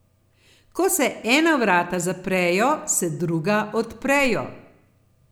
Ko se ena vrata zaprejo, se druga odprejo.